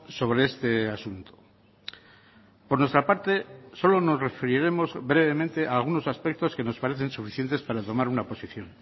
sobre este asunto por nuestra parte solo nos referiremos brevemente a algunos aspectos que nos parecen suficientes para tomar una posición